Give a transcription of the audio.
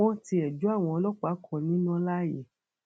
wọn tiẹ jó àwọn ọlọpàá kan níná láàyè